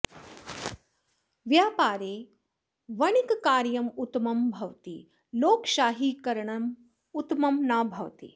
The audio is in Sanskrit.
व्यापारे वणिक्कार्यम् उत्तमं भवति लोकशाहीकरणम् उत्तमं न भवति